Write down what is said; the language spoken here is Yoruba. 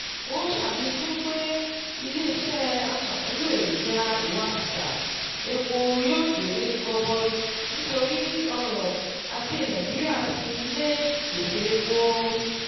Ó ṣàfikún pé ilé-iṣẹ́ aṣàmúlò èròjà ìwakùsà epo yóò jèrè gọbọi nítorí ọrọ̀-ajé Nàìjíríà sinmi lé ìpèsè epo.